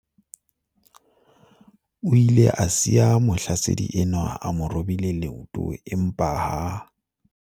O ile a siya mohlasedi enwa a mo robile leoto empa ha